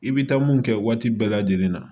I bɛ taa mun kɛ waati bɛɛ lajɛlen na